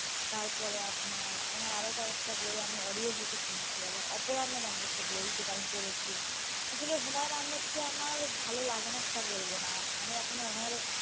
তারপরে আপনার ওনার আরো কয়েকটা বই আমি audio book এ শুনছি, আবার অপরাধ নামের একটা বই যেটা আমি পড়েছি. আসলে হুমায়ুন আহমেদকে আমার ভালো লাগে না সেটা বলবনা. আমি এখনও ওনার,